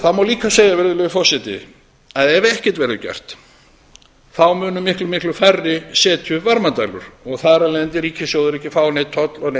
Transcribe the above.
það má líka segja virðulegi forseti að ef ekkert verður gert munu miklu miklu færri setja upp varmadælur og þar af leiðandi ríkissjóður ekki að fá neinn toll og neinn